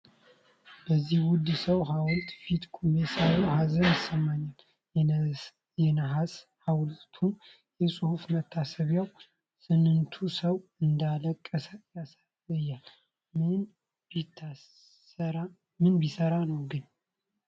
በዚህ ውድ ሰው ሐውልት ፊት ቆሜ ሳየው ሀዘን ይሰማኛል! የነሐስ ሐውልቱና የጽሑፍ መታሰቢያው፣ ስንቱ ሰው እንዳለቀሰ ያሳያል! ምን ቢሰራ ነው ግን።